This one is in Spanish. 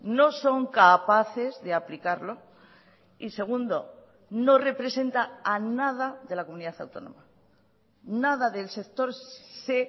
no son capaces de aplicarlo y segundo no representa a nada de la comunidad autónoma nada del sector se